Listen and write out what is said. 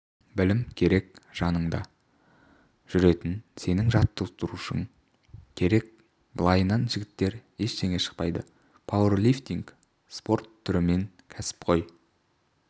білім керек жаныңда жүретін сенің жаттықтырушың керек былайынан жігіттер ештеңе шықпайды пауэрлифтинг спорт түрімен кәсіпқой